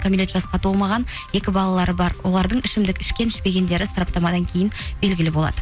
кәмелет жасқа толмаған екі балалары бар олардың ішімдік ішкен ішпегендері сараптамадан кейін белгілі болады